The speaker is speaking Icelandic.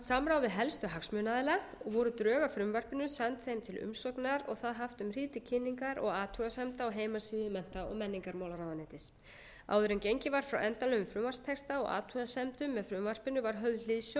við helstu hagsmunaaðila og voru drög að frumvarpinu send þeim til umsagnar og það haft um hríð til kynningar og athugasemda á heimasíðu mennta og menningarmálaráðuneytis áður en gengið var frá endanlegum frumvarpstexta og athugasemdum með frumvarpinu var höfð hliðsjón af